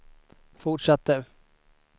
fortsatte